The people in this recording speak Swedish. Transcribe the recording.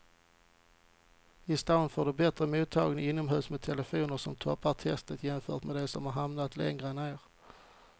I stan får du bättre mottagning inomhus med telefonerna som toppar testet jämfört med de som hamnat längre ner.